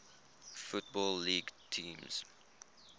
football league teams